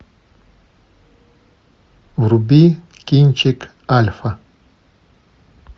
вруби кинчик альфа